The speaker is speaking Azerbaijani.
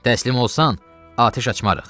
Təslim olsan, atəş açmarıq.